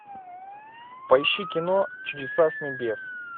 поищи кино чудеса с небес